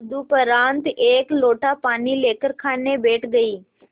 तदुपरांत एक लोटा पानी लेकर खाने बैठ गई